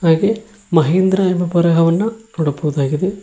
ಹಾಗೆ ಮಹಿಂದ್ರಾ ಎಂಬ ಬರಹವನ್ನ ನೋಡಬಹುದಾಗಿದೆ.